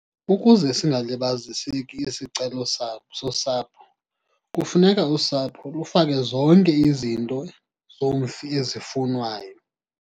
Ukuze singalibaziseki isicelo sabo sosapho, kufuneka usapho lufake zonke izinto zomfi ezifunwayo.